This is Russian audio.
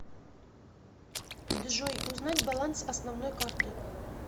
джой узнать баланс основной карты